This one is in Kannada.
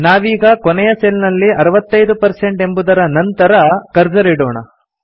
ನಾವೀಗ ಕೊನೆಯ ಸೆಲ್ ನಲ್ಲಿ 65 ಎಂಬುದರ ನಂತರ ಕರ್ಸರ್ ಇಡೋಣ